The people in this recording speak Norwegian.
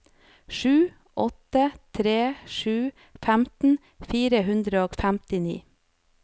sju åtte tre sju femten fire hundre og femtini